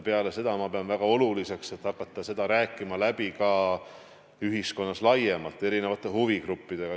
Peale seda pean ma väga oluliseks hakata seda läbi rääkima ka ühiskonnas laiemalt, erinevate huvigruppidega.